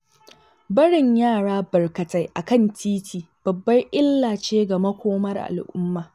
Barin yara barkatai a kan titi babbar illa ce ga makomar al'umma.